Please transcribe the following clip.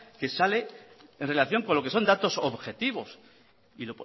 que sale en relación con lo que son datos objetivos